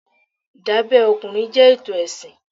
Ìdábẹ́ ọkùnrin jẹ́ ètò ẹ̀sìn.